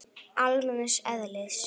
almenns eðlis.